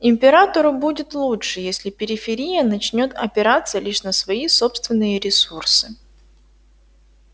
императору будет лучше если периферия начнёт опираться лишь на свои собственные ресурсы